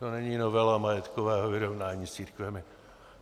To není novela majetkového vyrovnání s církvemi.